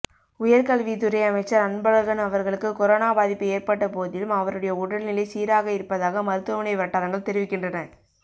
உயர்கல்வித்துறை அமைச்சர் அன்பழகன் அவர்களுக்கு கொரோனா பாதிப்பு ஏற்பட்ட போதிலும் அவருடைய உடல்நிலை சீராக இருப்பதாக மருத்துவமனை வட்டாரங்கள் தெரிவிக்கின்றன